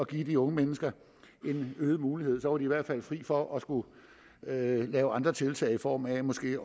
give de unge mennesker øgede muligheder og så i hvert fald fri for at skulle lave andre tiltag i form af måske